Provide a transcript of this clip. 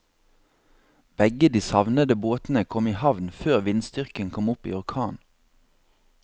Begge de savnede båtene kom i havn før vindstyrken kom opp i orkan.